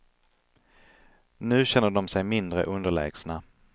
Nu känner de sig mindre underlägsna.